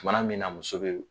Tumana min na muso bɛ